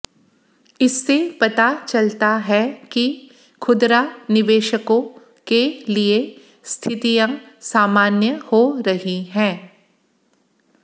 इससे पता चलता है कि खुदरा निवेशकों के लिए स्थितियां सामान्य हो रही हैं